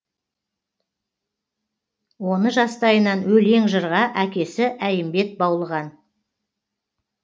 оны жастайынан өлең жырға әкесі әйімбет баулыған